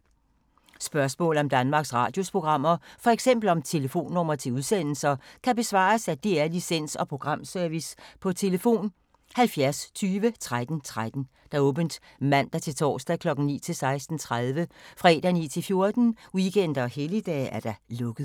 Spørgsmål om Danmarks Radios programmer, f.eks. om telefonnumre til udsendelser, kan besvares af DR Licens- og Programservice: tlf. 70 20 13 13, åbent mandag-torsdag 9.00-16.30, fredag 9.00-14.00, weekender og helligdage: lukket.